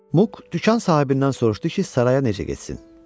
Muq dükan sahibindən soruşdu ki, saraya necə getsin.